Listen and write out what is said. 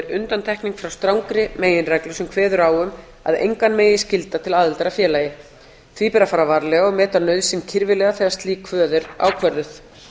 undantekning frá strangri meginreglu sem kveður á um að engan megi skylda til aðildar að félagi því ber að fara varlega og meta nauðsyn kirfilega þegar slík kvöð er ákvörðuð